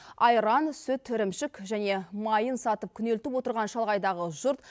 айран сүт ірімшік және майын сатып күнелтіп отырған шалғайдағы жұрт